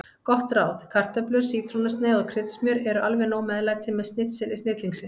Gott ráð: Kartöflur, sítrónusneið og kryddsmjör eru alveg nóg meðlæti með snitseli snillingsins.